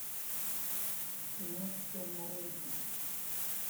кино сэма рэйми